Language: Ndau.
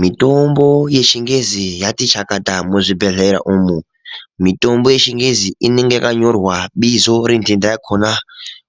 Mitombo yechingezi yati chakata muzvibhedhlera umwo mitombo yechingezi inenge yakanyorwa bizo rentenda yakona